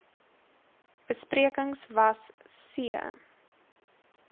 besprekings was c